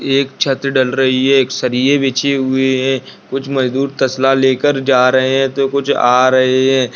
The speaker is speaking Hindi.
एक छत ढल रही है एक सरिये बिछे हुए हैं कुछ मजदूर तस्ला ले कर जा रहे है तो कुछ आ रहे है।